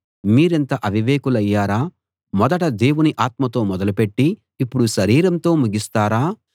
మీరింత అవివేకులయ్యారా మొదట దేవుని ఆత్మతో మొదలు పెట్టి ఇప్పుడు శరీరంతో ముగిస్తారా